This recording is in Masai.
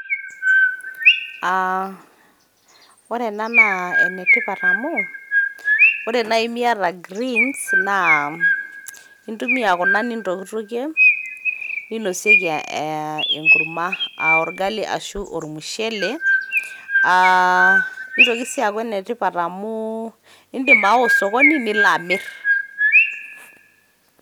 Aa ore ena naa enetipat amu ore nai miata greens intumia kuna nintokitokie ,ninosieki enkurma aa orgali ashu ormushele .nitoki si aku ene tipat amu indim awa osokoni nilo amir .